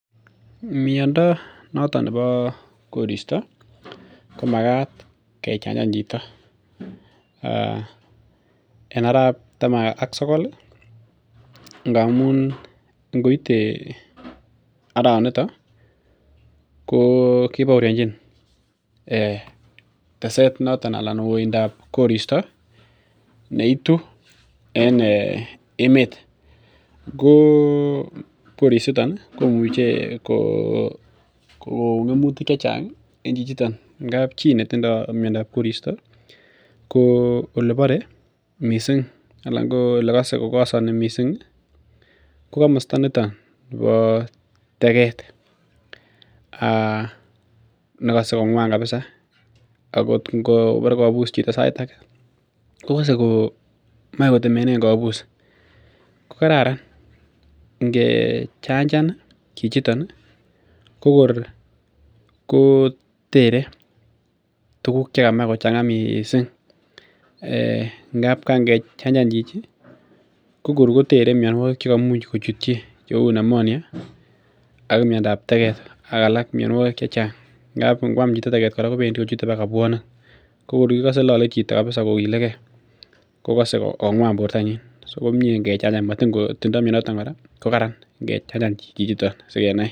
Miondo noton nebo koristo komakat kechanjan chito en arap taman ak sokol ih ngamun ngoite arawaniton ko kibooryonjin tesetet noton anan oindab koristo neitu en emet ko korisiton komuche ko kon ngemutik chechang en chichiton ngap chii netindoo miondab koristo ko elebore missing anan ko elekosoni missing ih ko komosta niton nebo tegeet nekose kong'wan kabisa ako ngobore kobus chito sait age kokose komoe kotemenen kobus ko kararan ngechanjan chichiton ih ko kor kotere tuguk chekamach kochang'a missing ngap kan kechanjan chichi ko kor kotere mionwogik cheimuch kochutyi cheu pneumonia ak miondab tegeet ak alak mionwogik chechang ngap ngoam chito tegeet kobendii kochute baka pwonik ko kor ikose lole chito kokilegee kokose kong'wan bortonyin so komie ngechanjan matin kotindoo mioniton kora kokararan ngechanjan chichiton sikonai.